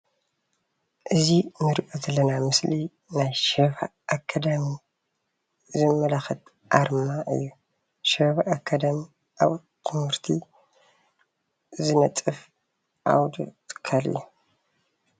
እዚ እንሪኦ ዘለና ምስሊ ናይ ሻባ ኣካዳሚ ዘመላክት ኣርማ እዩ፡፡ ሻባ ኣካዳሚ ኣብ ትምህርቲ ዝነጥፍ ዓውዲ ትካል እዩ፡፡